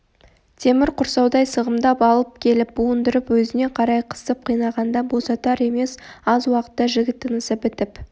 темір құрсаудай сығымдап алып келіп буындырып өзіне қарай қысып қинағанда босатар емес аз уақытта жігіт тынысы бітіп